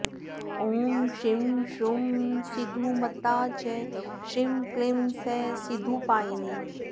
ॐ श्रीं श्रूं सीधुमत्ता च श्रीं क्लीं सः सीधुपायिनी